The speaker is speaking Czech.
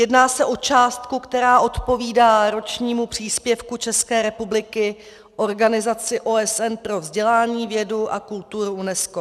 Jedná se o částku, která odpovídá ročnímu příspěvku České republiky Organizaci OSN pro vzdělání, vědu a kulturu, UNESCO.